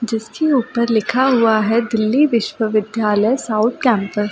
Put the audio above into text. जिसके ऊपर लिखा हुआ है दिल्ली विश्व विद्यालय साउथ कैंपस यहाँ।